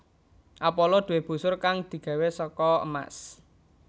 Apollo duwé busur kang digawé saka emas